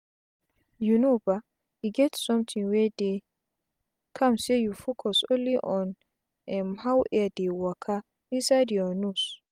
you know ba e get somtin wey dey calm say you focus only on um how air dey waka inside your nose.